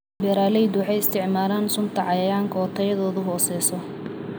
Beeraleydu waxay isticmaalaan sunta cayayaanka oo tayadoodu hooseyso.